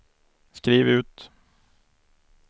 skriv ut